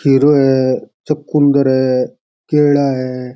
खीरो है चकुन्दर है केला है।